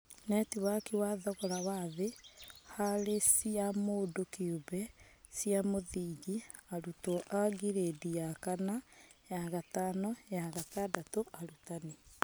Netiwaki wa thogora wa thĩ harĩ cia mũndũ kĩũmbe cia mũthingi; Arutwo a girĩndi ya kana, ya gatano, ya gatandatũ; Arutani